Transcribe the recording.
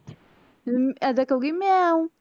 ਹਮ ਐਦਾਂ ਕਹੁਗੀ ਮਿਆਉਂ